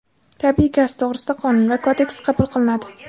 Tabiiy gaz to‘g‘risida qonun va kodeks qabul qilinadi.